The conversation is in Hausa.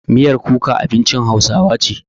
Miyar kuka abincin hausawa ce.